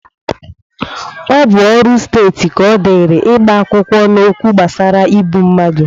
Ọ bụ ọrụ Steeti ka ọdịrị ịgba akwụkwọ n'okwu gbasara igbu mmadụ